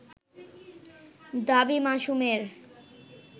দাবী মাসুমের